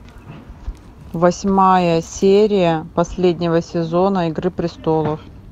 восьмая серия последнего сезона игры престолов